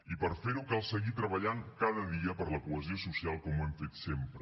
i per fer ho cal seguir treballant cada dia per la cohesió social com ho hem fet sempre